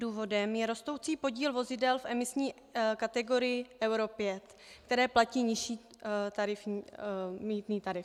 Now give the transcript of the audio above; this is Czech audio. Důvodem je rostoucí podíl vozidel v emisní kategorii Euro 5, které platí nižší mýtný tarif.